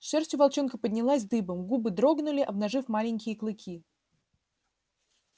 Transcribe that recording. шерсть у волчонка поднялась дыбом губы дрогнули обнажив маленькие клыки